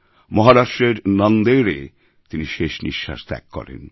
মহারাষ্ট্রের নান্দেড়এ তিনি শেষ নিঃশ্বাস ত্যাগ করেন